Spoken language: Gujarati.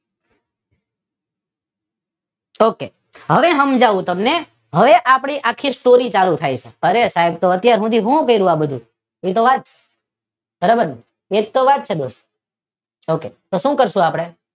ઓકે. હવે સમજાવું તમને હવે આપડે આખી સ્ટોરી ચાલુ થાય છે. એ સાહેબ તો અત્યાર સુધી શું કર્યું આ બધુ? એ તો વાત છે બરોબર ને એજ તો વાત છે